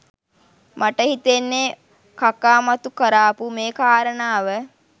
මට හිතෙන්නේ කකා මතු කරාපු මේ කාරණාව